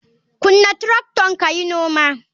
Kunna tracton kayi noma.